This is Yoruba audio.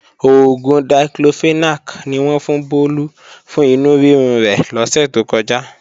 Oògùn Diclofenac ni wọ́n fún Bólú fún inú rírun rẹ̀ lọ́sè tó kọjá